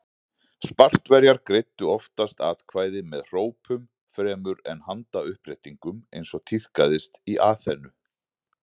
Spartverjar greiddu oftast atkvæði með hrópum fremur en með handauppréttingum eins og tíðkaðist í Aþenu.